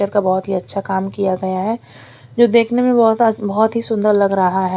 का बहोत ही अच्छा काम किया गया है जो देखने में बहोत आ बहोत ही सुंदर लग रहा है।